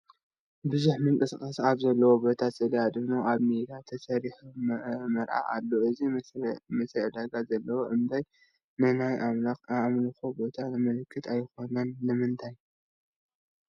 ብዙሕ ምንቅስቓስ ኣብ ዘለዎ ቦታ ስእሊ ኣድህኖ ኣብ ሜዳ ተሰሪዑ ይርአ ኣሎ፡፡ እዚ መስርዕ ዕዳጋ ዘመልክት እምበር ንናይ ኣምልኮ ቦታ ዘምልክት ኣይኮነን፡፡ ስለምንታይ?